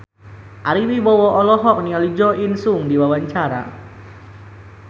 Ari Wibowo olohok ningali Jo In Sung keur diwawancara